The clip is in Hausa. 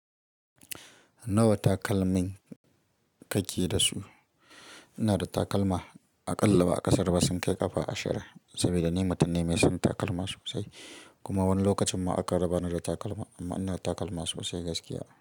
Nawa takalmin ka ke da su? Ina da takalma aƙalla ba a ƙasaru ba sun kai ƙafa ashirin, saboda ni mutum ne mai son takalma sosai. Kuma wani lokacin ma akan rabani da takalma, amma ina da takalma sosai gaskiya.